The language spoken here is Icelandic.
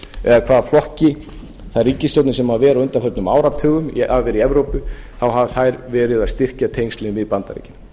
eða hvaða flokki þær ríkisstjórnir sem hafa verið á undanförnum áratugum hafa verið í evrópu þá hafa þær verið að styrkja tengslin við bandaríkin